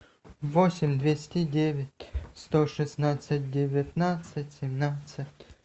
восемь двести девять сто шестнадцать девятнадцать семнадцать